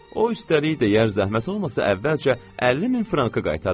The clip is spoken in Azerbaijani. O üstəlik deyər zəhmət olmasa əvvəlcə 50 min frankı qaytarın.